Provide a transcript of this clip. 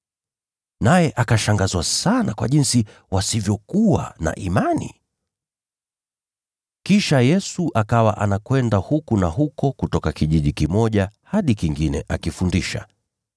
Naye akashangazwa sana kwa jinsi wasivyokuwa na imani. Yesu Awatuma Wale Kumi Na Wawili ( Mathayo 10:5-15 ; Luka 9:1-6 ) Kisha Yesu akawa anakwenda kutoka kijiji kimoja hadi kingine akifundisha.